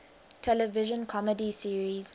television comedy series